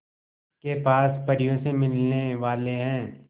के पास परियों से मिलने वाले हैं